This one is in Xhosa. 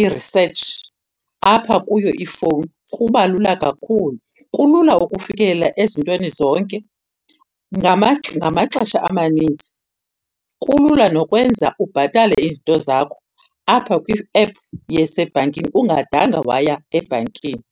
i-research apha kuyo ifowuni. Kubalula kakhulu. Kulula ukufikelela ezintweni zonke ngamaxesha amaninzi, kulula nokwenza ubhatale izinto zakho apha kwi-app yasebhankini ungadanga waya ebhankini.